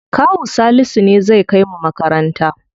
Kawu Salisu ne zai kai mu makaranta.